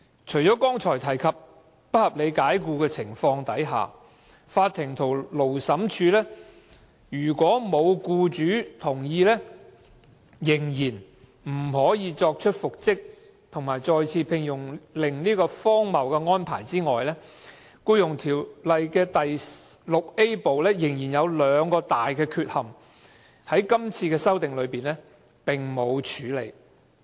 除了剛才提及在不合理解僱的情況下，如果沒有取得僱主同意，法庭和勞審處仍然不可作出復職和再次聘用的命令這荒謬安排外，《條例》第 VIA 部仍然有兩大缺憾，在今次的法例修訂中未獲處理。